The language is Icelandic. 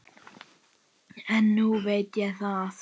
En núna veit ég það.